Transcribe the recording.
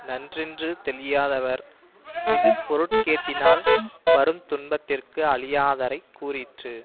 நன்றென்று தெளியாதவர் இது பொருட்கேட்டினால் வருந் துன்பத்திற்கு அழியாதரைக் கூறிற்று